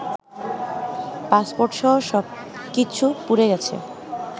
পাসপোর্টসহ সব কিছু পুড়ে গেছে